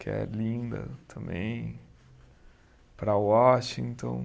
que é linda também, para Washington.